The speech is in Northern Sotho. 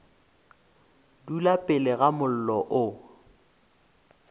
dula pele ga mollo o